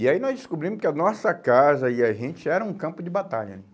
E aí nós descobrimos que a nossa casa e a gente era um campo de batalha, né?